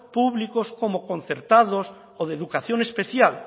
públicos como concertados o de educación especial